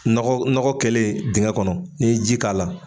Nɔgɔ nɔgɔ kɛlen dingɛ kɔnɔ ni ye ji k'a la.